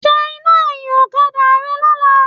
Ṣe iná ẹ̀yìn ọ̀kadà rẹ lọ́la.